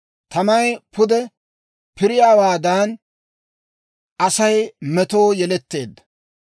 Tamay pude piriyaawaadan, Asay metoo yeletteedda.